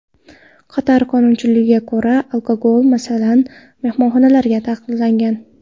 Qatar qonunchiligiga ko‘ra, alkogol, masalan, mehmonxonalarda taqiqlangan.